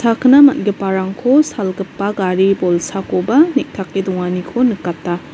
akina man·giparangko salgipa gari bolsakoba neng·take donganiko nikata.